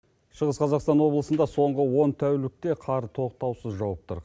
шығыс қазақстан облысында соңғы он тәулікте қар тоқтаусыз жауып тұр